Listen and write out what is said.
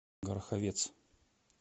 гороховец